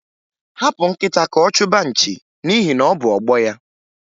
Hapụ nkịta ka ọ chụba nchi n'ihi na ọ bụ ọgbọ ya.